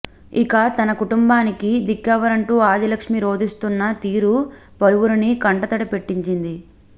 ఇక తన కుటుంబానికి దిక్కెవరంటూ ఆదిలక్ష్మి రోదిస్తున్న తీరు పలువురిని కంట తడిపెట్టించింది